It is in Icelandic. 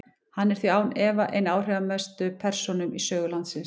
Hann er því án efa ein af áhrifamestu persónum í sögu landsins.